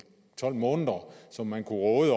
tolv måneder som man kunne råde